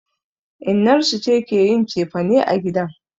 Innar su ce ke yin cefane a gidan.